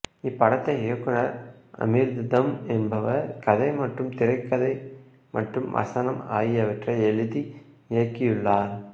இப்படத்தை இயக்குநர் அமிர்தம் என்பவர் கதை மற்றும் திரைக்கதை மற்றும் வசனம் ஆகியவற்றை எழுதி இயக்கியுள்ளார்